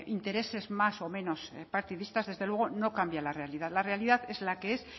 intereses más o menos partidistas desde luego no cambia la realidad la realidad es la que es